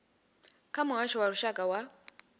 kha muhasho wa lushaka wa